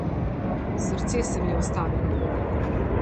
Srce se mi je ustavilo.